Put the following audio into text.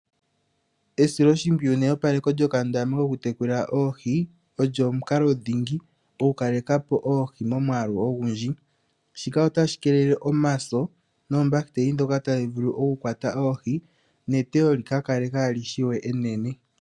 Esiloshimpwiyu neyopaleko lyokandama koku tekula oohi olyo omukalo dhingi lyokukalekapo oohi momwaalu ogundji. Shika otashi keelele omaso noombahiteli ndhoka tadhi vulu oku kwata oohi neteyo lika kale kaali shiwe enene.